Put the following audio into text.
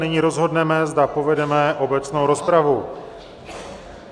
Nyní rozhodneme, zda povedeme obecnou rozpravu.